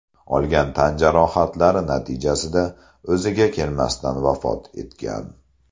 olgan tan jarohatlari natijasida o‘ziga kelmasdan vafot etgan.